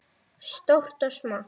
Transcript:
Stórt og smátt.